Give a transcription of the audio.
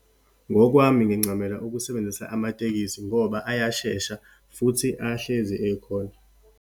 Ngokwami, ngincamela ukusebenzisa amatekisi ngoba ayashesha, futhi ahlezi ekhona.